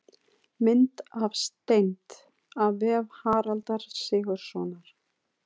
Mynd af steind: af vef Haraldar Sigurðssonar.